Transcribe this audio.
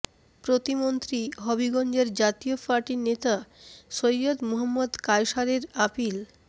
প্রতিমন্ত্রী হবিগঞ্জের জাতীয় পার্টির নেতা সৈয়দ মুহম্মদ কায়সারের আপিল